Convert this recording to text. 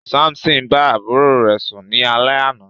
Samson bá àbúrò rẹ̀ sún ni alẹ àna.